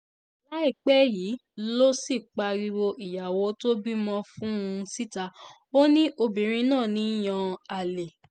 láìpẹ́ yìí ló sì pariwo ìyàwó tó bímọ fún un síta ó ní obìnrin náà ń yan àlè